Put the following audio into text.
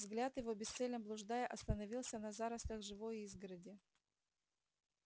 взгляд его бесцельно блуждая остановился на зарослях живой изгороди